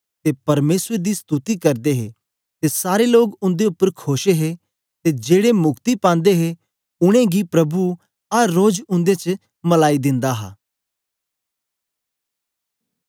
ते परमेसर दी स्तुति करदे हे ते सारे लोग उंदे उपर खोश हे ते जेड़े मुक्ति पांदे हे उनेंगी प्रभु अर रोज उंदे च मिलाई दिंदा हा